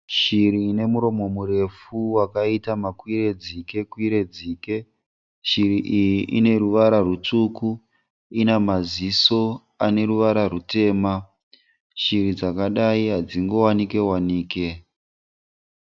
Shiri ine muromo murefu wakaita makwire dzike kwire dzike. Shiri iyi ine ruvara rutsvuku. Ina maziso ane ruvara rutema. Shiri dzakadai hadzingowanike wanike.